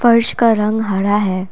और इसका का रंग हरा है।